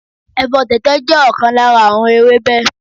Ẹ̀fọ́ tẹ̀tẹ̀ jẹ́ ọ̀kan lára àwọn ewébẹ̀